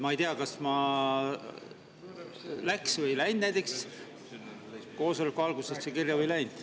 Ma ei tea, kas ma läksin koosoleku alguses kirja või ei läinud.